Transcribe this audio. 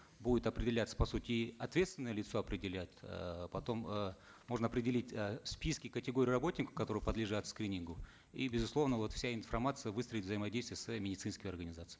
будет определяться по сути и ответственное лицо определяется э потом э можно определить э списки категорий работников которые подлежат скринингу и безусловно вот вся информация выстроит взаимодействие со своими медицинскими организациями